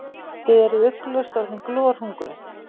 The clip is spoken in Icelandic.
Þið eruð ugglaust orðin glorhungruð.